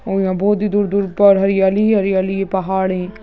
और यहाँ बहुत ही दूर दूर पर हरियाली हरियाली ये पहाड़ है।